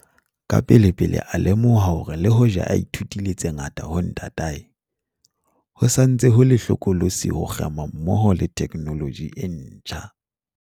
Kapelepele a lemoha hore le hoja a ithutile tse ngata ho ntatae, ho sa ntse ho le hlokolosi ho kgema mmoho le theknoloji e ntjha.